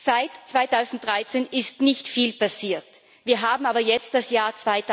Seit 2013 ist nicht viel passiert, wir haben aber jetzt das Jahr